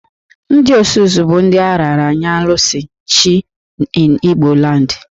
Ndị Osus bụ ndị a raara nye Alusi(Chi) in Igboland